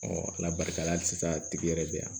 ala barika la halisa a tigi yɛrɛ bɛ yan